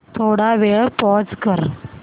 थोडा वेळ पॉझ कर